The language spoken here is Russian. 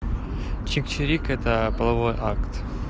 чик чирик это половой акт